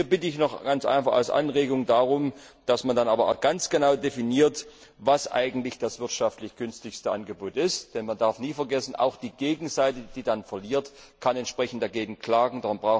Hier bitte ich als Anregung darum, dass man dann aber auch ganz genau definiert, was eigentlich das wirtschaftlich günstigste Angebot ist, denn man darf nie vergessen, auch die Gegenseite, die dann verliert, kann entsprechend dagegen klagen.